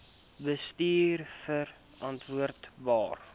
bestuurverantwoordbare